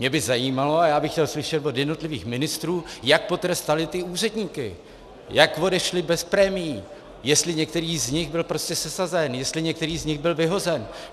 Mě by zajímalo a já bych chtěl slyšet od jednotlivých ministrů, jak potrestali ty úředníky, jak odešli bez prémií, jestli některý z nich byl prostě sesazen, jestli některý z nich byl vyhozen.